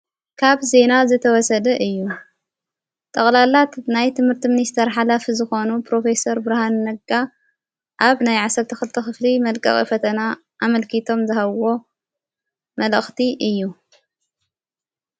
ካብ ዜና ዘተወሰደ እዩ ጠቕላላት እናይት ትምህርቲ ምንስተር ሓላ ፍዝኾኑ ፖሮፌሰር ብርሃን ነጋ ዓብ ናይ ዓሰርተ ኽልተ ኽፍሊ መልቃቒ ፈተና ኣመልኪቶም ዝሃዎ መልእኽቲ እዩ።